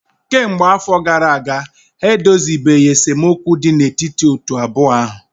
kemgbe afọ gara aga ha edozibeghị esemokwu dị n'etiti otu abụọ ahụ